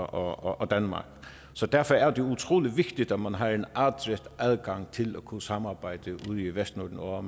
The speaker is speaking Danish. og danmark så derfor er det utrolig vigtigt at man har en adgang til at kunne samarbejde ude i vestnorden og